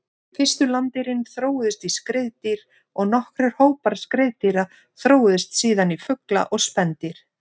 Fyrstu landdýrin þróuðust í skriðdýr og nokkrir hópar skriðdýra þróuðust síðan í fugla og spendýr.